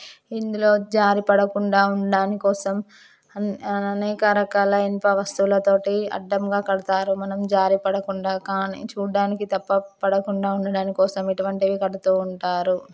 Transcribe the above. ఇందులో జారి పడకుండా ఉండడాని కోసం ఆ అనేక రకాల ఇనుప వస్తుల తోటి అడ్డంగా కడతారు మనం జారిపడకుండా కానీ చూడ్డానికి తప్ప పడకుండా ఉండడం కోసం ఇవి కడుతూ ఉంటారు.